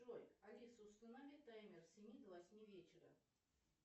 джой алиса установи таймер с семи до восьми вечера